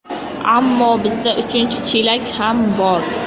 Ammo bizda uchinchi chelak ham bor.